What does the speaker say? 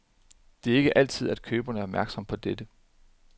Det er ikke altid, at køberen er opmærksom på dette.